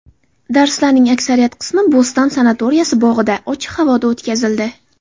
Darslarning aksariyat qismi Bo‘ston sanatoriyasi bog‘ida, ochiq havoda o‘tkazildi.